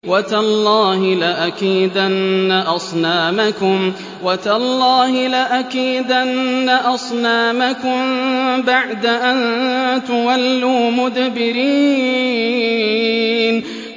وَتَاللَّهِ لَأَكِيدَنَّ أَصْنَامَكُم بَعْدَ أَن تُوَلُّوا مُدْبِرِينَ